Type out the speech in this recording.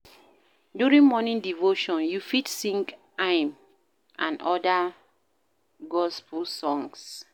During morning devotion, you fit sing hymn and oda gospel songs